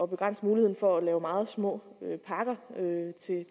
begrænse muligheden for at lave meget små pakker